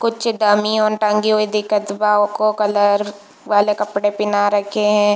कुछ डम्मी यो टंगी हुई दिखत बा ओको कलर वाले कपड़े पहना रखे है।